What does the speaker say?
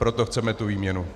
Proto chceme tu výměnu.